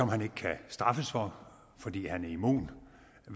han ikke kan straffes for fordi han er immun